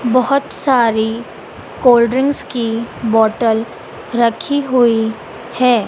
बहोत सारी cold drinks की बॉटल रखी हुई है।